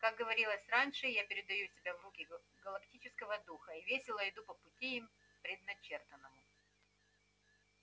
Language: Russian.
как говорилось раньше я передаю себя в руки галактического духа и весело иду по пути им предначертанному